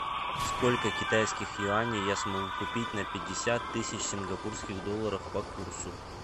сколько китайских юаней я смогу купить на пятьдесят тысяч сингапурских долларов по курсу